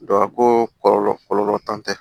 Dɔ ko kɔlɔlɔ kɔlɔlɔ t'an fɛ